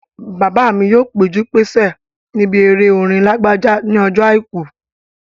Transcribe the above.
Bàbá mi yóò péjú-pésẹ̀ níbi eré orin Lágbájá ní ọjọ́ àìkú